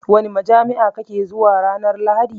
Wani majami'a kake zuwa ranar lahadi?